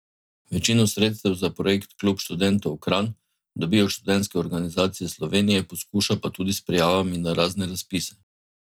Večino sredstev za projekt Klub študentov Kranj dobi od Študentske organizacije Slovenije, poskuša pa tudi s prijavami na razne razpise.